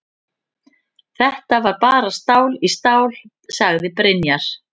Þetta var bara stál í stál, sagði Brynjar.